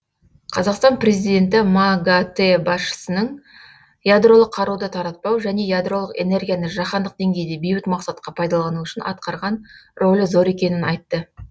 қазақстан президенті магатэ басшысының ядролық қаруды таратпау және ядролық энергияны жаһандық деңгейде бейбіт мақсатқа пайдалану үшін атқарған рөлі зор екенін айтты